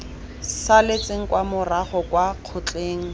saletseng kwa morago kwa kgotleng